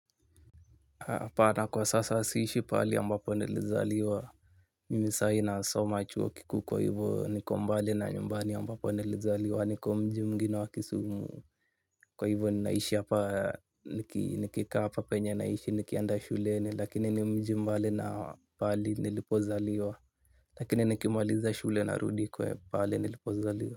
Hapana kwa sasa siishi pahali ambapo nilizaliwa. Mimi saa hii nasoma chuo kikuu kwa hivo nikombali na nyumbani ambapo nilizaliwa nikomji mwingine wakisumu. Kwa hivo ninaishi hapa nikikaa hapa penye naishi nikienda shuleni lakini ni mji mbali na pahali nilipozaliwa. Lakini nikimaliza shule narudi kwe pahali nilipozaliwa.